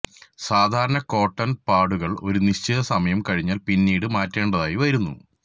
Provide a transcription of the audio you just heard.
സാധാരണ കോട്ടൺ പാഡുകൾ ഒരു നിശ്ചിത സമയം കഴിഞ്ഞാൽ പിന്നീട് മാറ്റേണ്ടതായി വരുന്നു